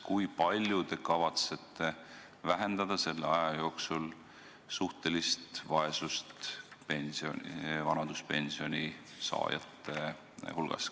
Kui palju te kavatsete vähendada selle aja jooksul suhtelist vaesust vanaduspensioni saajate hulgas?